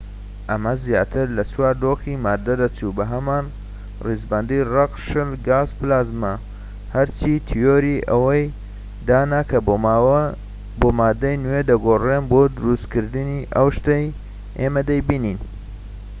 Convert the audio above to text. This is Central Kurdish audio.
ئەمە زیاتر لە چوار دۆخی ماددە دەچوو بەهەمان ڕیزبەندی: ڕەق، شل، گاز، و پلازما، گەرچی تیۆری ئەوەی دانا کە بۆ ماددەی نوێ دەگۆڕێن بۆ دروستکردنی ئەو شتەی ئێمە دەیبینین